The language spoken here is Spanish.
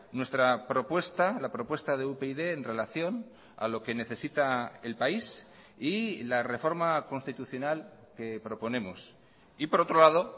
nuestra propuesta la propuesta de upyd en relación a lo que necesita el país y la reforma constitucional que proponemos y por otro lado